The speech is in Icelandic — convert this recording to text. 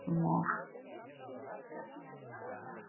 Svipuðu máli gegnir með fínmalað og sáldað hveiti.